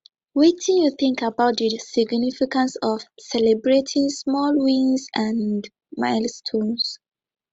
wetin you think about di significance of celebrating small wins and milestones